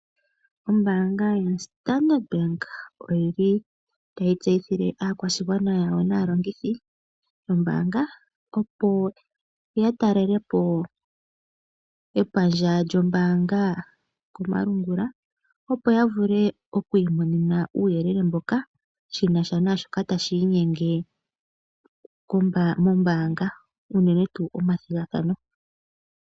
Ombaanga yo Standard bank oyili tayi tseyithile aakwashigwana yawo naalongithi yombaanga opo ya ta lelepo epandja lyo mbaanga komalungula opo ya vule oku imonena uuyelele mboja shinasha nashoka tashi inyenge mombanga uunene tuu omathigathano.